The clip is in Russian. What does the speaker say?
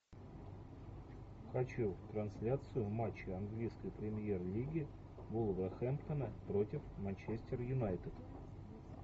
хочу трансляцию матча английской премьер лиги вулверхэмптона против манчестер юнайтед